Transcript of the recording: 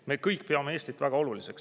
Me kõik peame Eestit väga oluliseks.